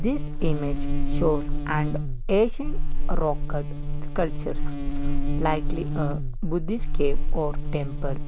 this image shows an asian sculptures likely a buddist cave or temple.